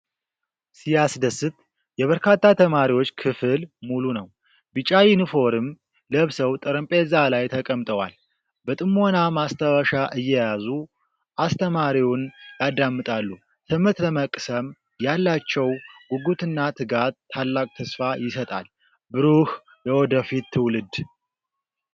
ሲያስደስት! የበርካታ ተማሪዎች ክፍል ሙሉ ነው። ቢጫ ዩኒፎርም ለብሰው ጠረጴዛ ላይ ተቀምጠዋል። በጥሞና ማስታወሻ እየያዙ አስተማሪውን ያዳምጣሉ። ትምህርት ለመቅሰም ያላቸው ጉጉትና ትጋት ታላቅ ተስፋ ይሰጣል። ብሩህ የወደፊት ትውልድ!